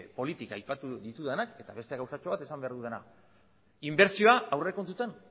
politika aipatu ditudanak eta beste gauzatxo bat esan behar dudana inbertsioa aurrekontutan